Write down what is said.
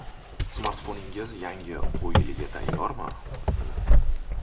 Smartfoningiz yangi o‘quv yiliga tayyormi?.